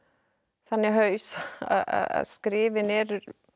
þannig haus að skrifin eru